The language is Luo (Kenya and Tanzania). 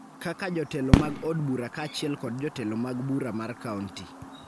kaka jotelo mag od bura kaachiel kod jotelo mag bura mar kaonti